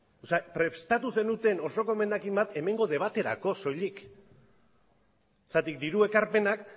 prestatu zenuten osoko emendakina bat hemengo debaterako soilik zergatik diru ekarpenak